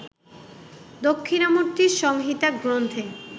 দক্ষিণামূর্তি সংহিতা গ্রন্থে